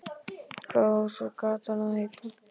Hvað á svo gatan að heita?